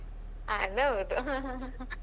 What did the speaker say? ಅದ್‌ಹೌದು